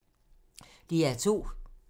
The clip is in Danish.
DR2